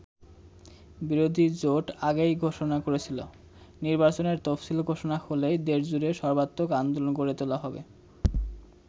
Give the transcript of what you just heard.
বিরোধী জোট আগেই ঘোষণা করেছিল, নির্বাচনের তফসিল ঘোষণা হলেই দেশজুড়ে সর্বাত্মক আন্দোলন গড়ে তোলা হবে।